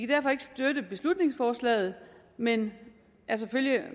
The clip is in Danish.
derfor ikke støtte beslutningsforslaget men er selvfølgelig